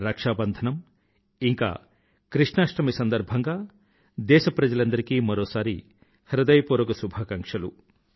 రక్షాబంధనం ఇంకా కృష్ణాష్టమి సందర్భంగా దేశ ప్రజలందరికీ మరోసారి హృదయపూర్వక శుభాకాంక్షలు